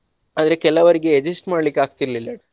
ಆದ್ರೆ ಕೆಲವರಿಗೆ adjust ಮಾಡ್ಲಿಕ್ಕೆ ಆಗ್ತಿರ್ಲಿಲ್ಲ.